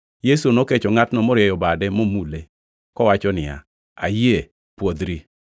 Yesu nokecho ngʼatno morieyo bade momule, kowacho niya, “Ayie, pwodhri!”